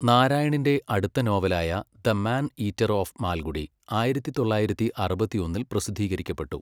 നാരായണിൻ്റെ അടുത്ത നോവലായ 'the man eater of Malgudi' ആയിരത്തി തൊള്ളായിരത്തി അറുപത്തിയൊന്നിൽ പ്രസിദ്ധീകരിക്കപ്പെട്ടു.